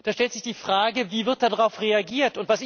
Da stellt sich die Frage, wie wird darauf reagiert?